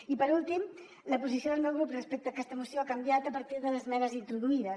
i per últim la posició del meu grup respecte a aquesta moció ha canviat a partir de les esmenes introduïdes